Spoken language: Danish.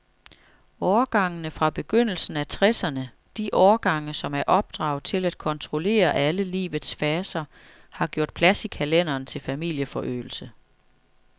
Årgangene fra begyndelsen af tresserne, de årgange, som er opdraget til at kontrollere alle livets faser, har gjort plads i kalenderen til familieforøgelse.